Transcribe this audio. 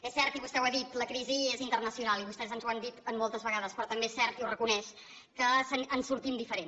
és cert i vostè ho ha dit la crisi és internacional i vostès ens ho han dit moltes vegades però també és cert i ho reconeix que en sortim diferent